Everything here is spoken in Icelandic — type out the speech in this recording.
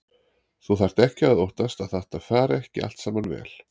Þú þarft ekki að óttast að þetta fari ekki allt saman vel.